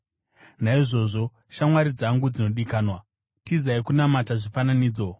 Naizvozvo, shamwari dzangu dzinodikanwa, tizai kunamata zvifananidzo.